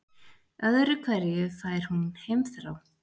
Öðru hverju fær hún heimþrá.